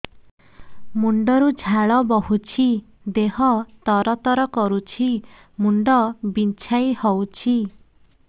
ମୁଣ୍ଡ ରୁ ଝାଳ ବହୁଛି ଦେହ ତର ତର କରୁଛି ମୁଣ୍ଡ ବିଞ୍ଛାଇ ହଉଛି